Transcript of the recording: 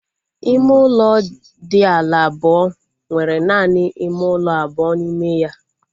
Ime ụlọ dị ala abụọ nwere naanị ime ụlọ abụọ n'ime ya